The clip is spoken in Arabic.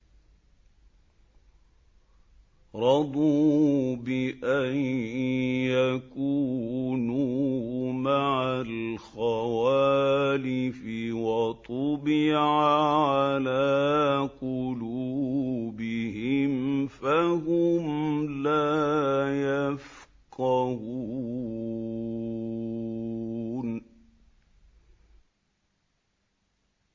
رَضُوا بِأَن يَكُونُوا مَعَ الْخَوَالِفِ وَطُبِعَ عَلَىٰ قُلُوبِهِمْ فَهُمْ لَا يَفْقَهُونَ